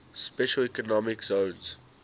special economic zones